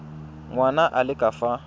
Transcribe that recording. ngwana a le ka fa